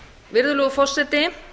virðulegur forseti